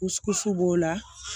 b'o la